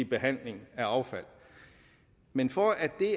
behandlingen af affald men for at det